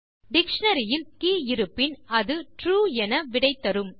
dictionary இல் key இருப்பின் அது ட்ரூ என விடை தரும்